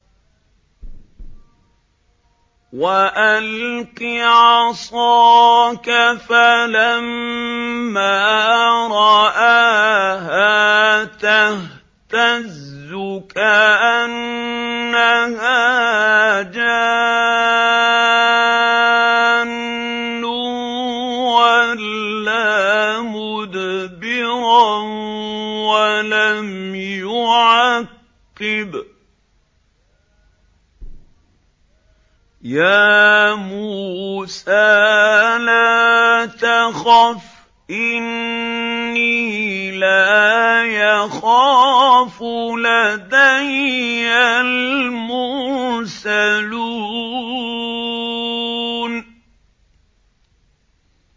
وَأَلْقِ عَصَاكَ ۚ فَلَمَّا رَآهَا تَهْتَزُّ كَأَنَّهَا جَانٌّ وَلَّىٰ مُدْبِرًا وَلَمْ يُعَقِّبْ ۚ يَا مُوسَىٰ لَا تَخَفْ إِنِّي لَا يَخَافُ لَدَيَّ الْمُرْسَلُونَ